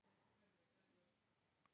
Ég mun fylgjast vel með íslenska liðinu.